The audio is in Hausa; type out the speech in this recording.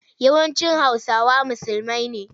Yawancin Hausawa musulmai ne.